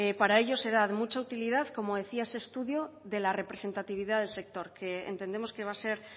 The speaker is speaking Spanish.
para ello será de mucha utilidad como decía ese estudio de la representatividad del sector que entendemos que va a ser